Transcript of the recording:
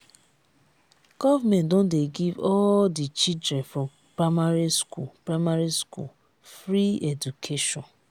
government don give all di children for primary school primary school free education.